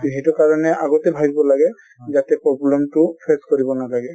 এইটো কাৰণে আগতে ভবিব লাগে যাতে problem টো face কৰিব নালাগে |